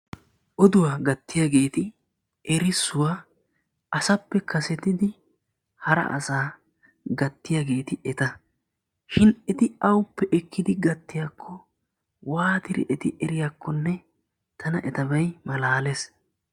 Oduwa gattiyageeti erissuwaa asappe kasettidi hara asaa gattiyageeti eta shin eti awuppe ekkidi gattiyakko waatidi eti eriyakkonne tana etabay malaalees.